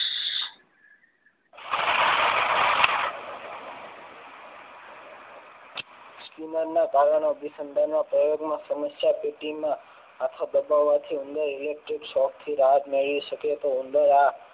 અભિસંધાન ના પ્રયોગ માં સમસ્યા પેટીમાં આથો દબાવવાથી ઉંદર electric shock થી રાહત મેળવે છે તો ઉંદર આ